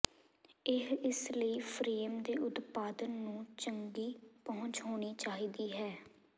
ਇਹ ਇਸ ਲਈ ਫਰੇਮ ਦੇ ਉਤਪਾਦਨ ਨੂੰ ਚੰਗੀ ਪਹੁੰਚ ਹੋਣੀ ਚਾਹੀਦੀ ਹੈ